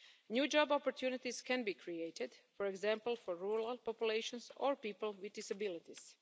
New job opportunities can be created, for example for rural populations or people with disabilities.